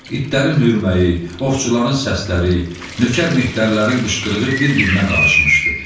İtlərin hürməyi, ovçuların səsləri, nökər mehtərlərin qışqırığı bir-birinə qarışmışdı.